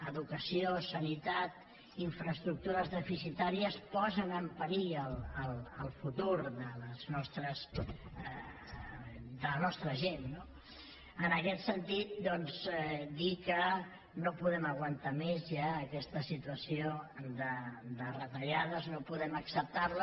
educació sanitat infraestructures deficitàries posen en perill el futur de la nostra gent no en aquest sentit doncs dir que no podem aguantar més ja aquesta situació de retallades no podem acceptar les